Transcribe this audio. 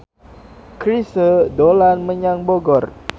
Chrisye dolan menyang Bogor